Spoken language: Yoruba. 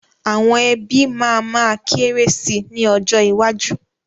Àwọn ẹbí máa ma kéré sì ni ọjọ́ iwájú.